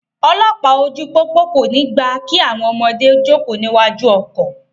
Olọ́pàá ojú pópó kò ní gbà kí àwọn ọmọdé jókòó níwájú ọkọ̀.